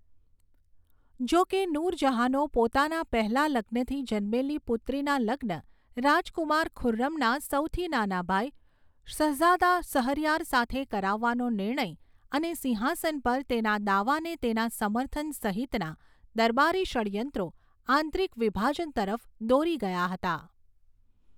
જો કે, નૂર જહાંનો પોતાના પહેલા લગ્નથી જન્મેલી પુત્રીના લગ્ન રાજકુમાર ખુર્રમના સૌથી નાના ભાઈ શહઝાદા શહરયાર સાથે કરાવવાનો નિર્ણય અને સિંહાસન પર તેના દાવાને તેના સમર્થન સહિતના દરબારી ષડ્યંત્રો આંતરિક વિભાજન તરફ દોરી ગયા હતા.